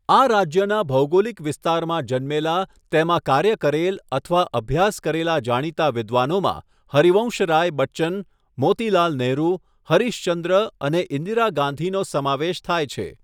આ રાજ્યના ભૌગોલિક વિસ્તારમાં જન્મેલા, તેમાં કાર્ય કરેલ અથવા અભ્યાસ કરેલા જાણીતા વિદ્વાનોમાં હરિવંશરાય બચ્ચન, મોતીલાલ નેહરુ, હરીશ ચંદ્ર અને ઈન્દિરા ગાંધીનો સમાવેશ થાય છે.